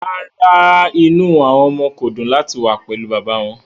Rárá, inú àwọn ọmọ kò dùn láti wà pẹ̀lú bàbá wọn